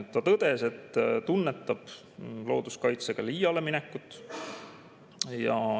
Ta tõdes, et tunnetab looduskaitsega liiale minekut.